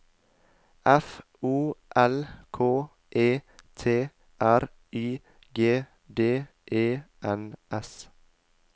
F O L K E T R Y G D E N S